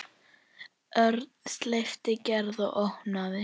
Örn sleppti Gerði og opnaði.